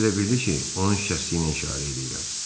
O da elə bildi ki, onun şikəstliyinə işarə eləyirəm.